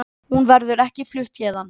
Hún verður ekki flutt héðan.